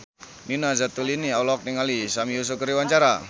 Nina Zatulini olohok ningali Sami Yusuf keur diwawancara